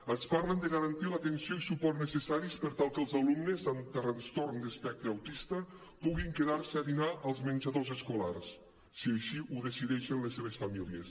ens parlen de garantir l’atenció i suport necessaris per tal que els alumnes amb trastorn d’espectre autista puguin quedar se a dinar als menjadors escolars si així ho decideixen les seves famílies